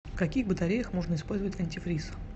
в каких батареях можно использовать антифриз